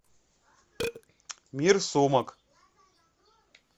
мир сумок